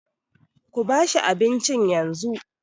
Kuba shi abincin yanzu.